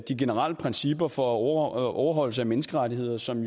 de generelle principper for overholdelse af menneskerettigheder som